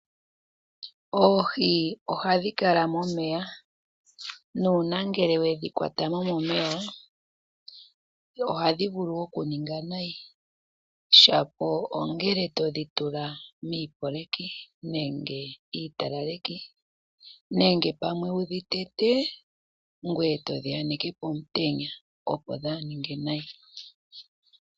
Oohi ohadhi kala momeya. Nuuna ngele we dhi kwata mo momeya ohadhi vulu wo okuninga nayi, shapo ongele todhi tula miipoleki nenge iitalaleki nenge pamwe wu dhi tete ngoye to dhi aneke pomutenya, opo dhaa ninge nayi.